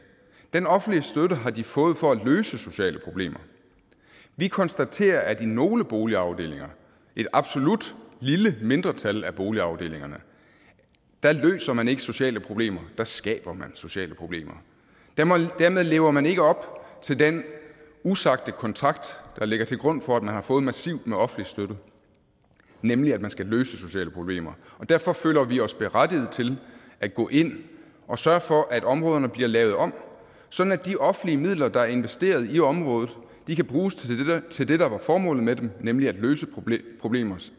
den offentlige støtte har de fået for at løse sociale problemer vi konstaterer at i nogle boligafdelinger et absolut lille mindretal af boligafdelingerne løser man ikke sociale problemer der skaber man sociale problemer dermed lever man ikke op til den usagte kontrakt der ligger til grund for at man har fået massiv offentlig støtte nemlig at man skal løse sociale problemer derfor føler vi os berettiget til at gå ind og sørge for at områderne bliver lavet om sådan at de offentlige midler der er investeret i området kan bruges til det der var formålet med dem nemlig at løse problemer problemer